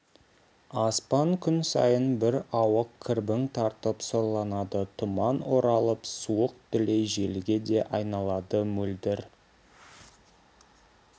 аспан күн сайын бір ауық кірбің тартып сұрланады тұман оралып суық дүлей желге де айналады мөлдір